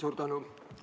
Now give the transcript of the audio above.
Suur tänu!